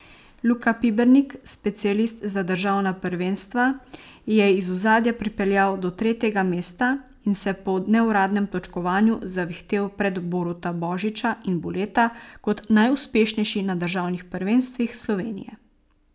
Luka Pibernik, specialist za državna prvenstva, je iz ozadja pripeljal do tretjega mesta in se po neuradnem točkovanju zavihtel pred Boruta Božiča in Boleta kot najuspešnejši na državnih prvenstvih Slovenije.